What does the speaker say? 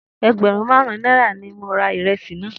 Egberun marun naira ni mo ra iresi naa.